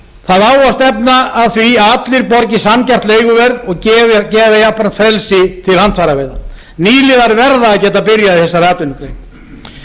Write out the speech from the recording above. það á að stefna að því að allir borgi sanngjarnt leiguverð og gefa jafnframt frelsi til handfæraveiða nýliðar verða að geta byrjað í þessari atvinnugrein